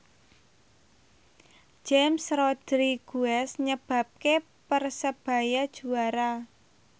James Rodriguez nyebabke Persebaya juara